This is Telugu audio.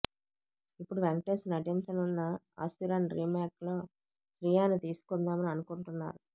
ఇప్పుడు వెంకటేష్ నటించనున్న అసురన్ రీమేక్ లో శ్రియను తీసుకుందామని అనుకుంటున్నారు